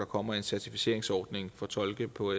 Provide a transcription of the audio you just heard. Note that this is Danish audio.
kommer en certificeringsordning for tolke på